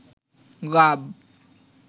গাব